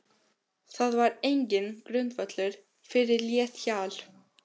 Það var enginn grundvöllur fyrir létt hjal.